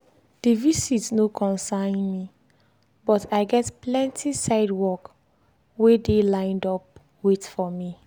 the visit no concern me but i get plenty side work wey dey line up wait for me.